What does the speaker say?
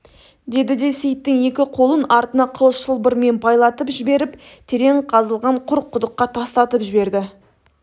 деді де сейіттің екі қолын артына қыл шылбырмен байлатып жіберіп терең қазылған құр құдыққа тастатып жіберді